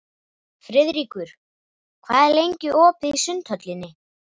Friðríkur, hvað er lengi opið í Sundhöllinni?